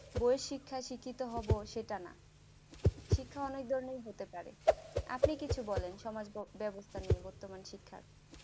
যে শিক্ষায় শিক্ষিত হবে সেটা না শিক্ষা অনেক ধরনের হতে পারে আপনি কিছু বলেন সমাজব্যবস্থা নিয়ে বর্তমান শিক্ষার